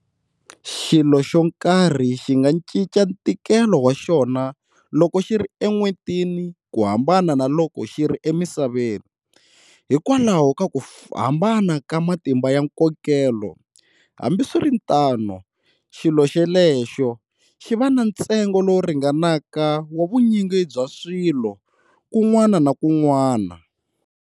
Xilo xo karhi xinga xinca ntikelo wa xona loko xiri e n'wentini kuhambana na loko xiri e misaveni, hikwalaho ka ku hambana ka matimba ya nkokelo, hambi swiritano xilo xelexo xiva na ntsengo lowu ringanaka wa vunyingi bya swilo kun'wana na kun'wana.